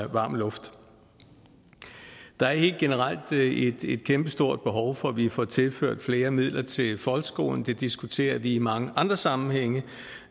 varm luft der er helt generelt et et kæmpestort behov for at vi får tilført flere midler til folkeskolen det diskuterer vi i mange andre sammenhænge